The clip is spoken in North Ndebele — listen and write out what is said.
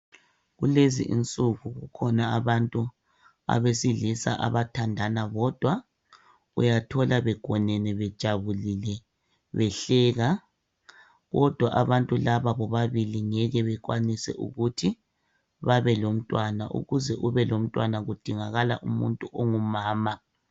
Kulezinsuku kukhona abantu abesilisa abathandana bodwa uyathola begonene bejabulile behleka kodwa abantu laba bobabili ngeke bekwanise ukuthi babe lomntwana ukuze kube lomntwana kudingakala umuntu ongumama.